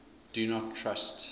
do not trust